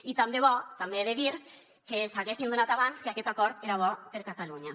i tant de bo també ho he de dir que s’haguessin adonat abans que aquest acord era bo per a catalunya